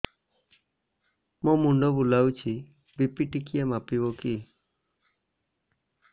ମୋ ମୁଣ୍ଡ ବୁଲାଉଛି ବି.ପି ଟିକିଏ ମାପିବ କି